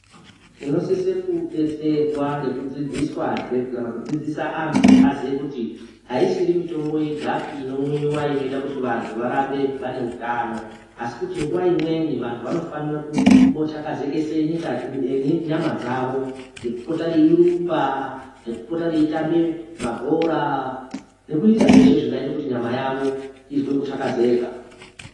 Tinosise kudetserwa ngekudzidziswa zve kana kudzidzisa antu aziye kuti haisiri mitombo yegapi inomwiwa inoita kuti vantu varambe vane utano. Asi kuti nguwa imweni vantu vanofanira kumbotakazekesa nyama dzavo ngekupota veirumba. Kupota veitamba ma bhora nekuita zveshe zvingaita kuti nyama yavo izwe kutakazeka.